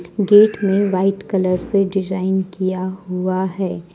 Gate में white colour से design किया हुआ है ।